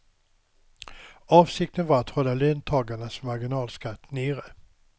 Avsikten var att hålla löntagarnas marginalskatt nere.